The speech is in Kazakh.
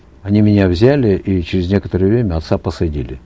они меня взяли и через некоторое время отца посадили